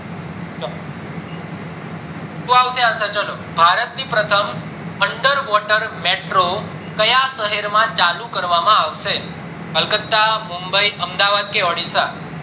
શું આવશે answer ભારત ની under water metro ક્યાં શહેરમાં ચાલુ કરવામાં આવશે બોલો કલકત્તા, મુમ્બઈ, અમદાવાદ કે ઓડીસા